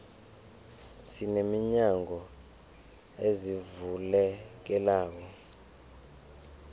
sine minyango ezivulekelako